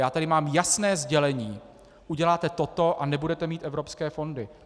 Já tady mám jasné sdělení: uděláte toto, a nebudete mít evropské fondy.